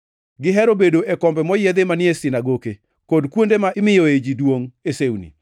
Gihero bedo e kombe moyiedhi manie sinagoke, kod kuonde ma imiyoe ji duongʼ e sewni.